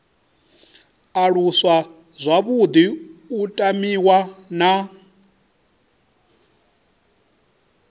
aluswa zwavhuḓi u tamiwa na